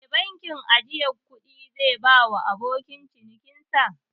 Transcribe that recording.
Me bankin ajjiye kudi zai bawa abokan cinikin sa?